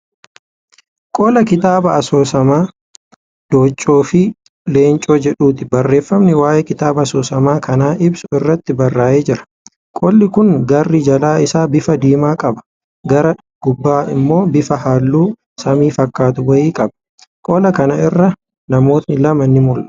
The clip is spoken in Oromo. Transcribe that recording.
Qola kitaaba asoosama Dooccoo fi Leencoo jedhuuti. Barreeffami waa'ee kitaaba asoosama kanaa ibsu irratti barraa'ee jira. Qolli kun garri jalaa isaa bifa diimaa qaba gara gubbaan ammoo bifa halluu samii fakkaatu wayii qaba. Qola kana irra namooti lama ni mul'atu.